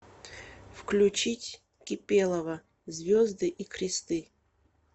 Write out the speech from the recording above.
включить кипелова звезды и кресты